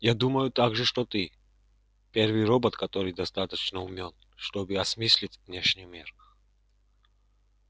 я думаю также что ты первый робот который достаточно умён чтобы осмыслить внешний мир